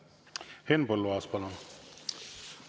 Henn Põlluaas, palun!